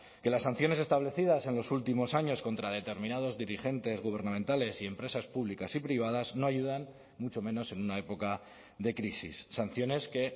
que las sanciones establecidas en los últimos años contra determinados dirigentes gubernamentales y empresas públicas y privadas no ayudan mucho menos en una época de crisis sanciones que